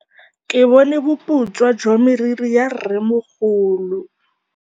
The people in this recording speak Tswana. Ke bone boputswa jwa meriri ya rrêmogolo.